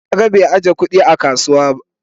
Na gan bai ajiya kudi a kasuwa.